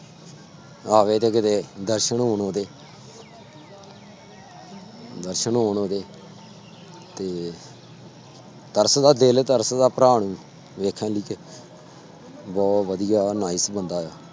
ਆਵੇ ਤੇ ਕਿਤੇ ਦਰਸ਼ਨ ਹੋਣ ਉਹਦੇ ਦਰਸ਼ਨ ਹੋਣ ਉਹਦੇ ਤੇ ਤਰਸਦਾ ਦਿਲ ਤਰਸਦਾ ਭਰਾ ਨੂੰ ਵੇਖਣ ਲਈ ਤੇ ਬਹੁ ਵਧੀਆ nice ਬੰਦਾ ਆ।